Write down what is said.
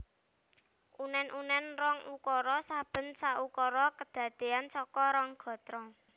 Unen unen rong ukara saben saukara kadadean saka rong gatra